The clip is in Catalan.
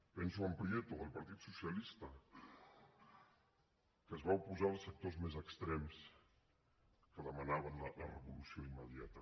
penso en prieto del partit socialista que es va oposar als sectors més extrems que demanaven la revolució immediata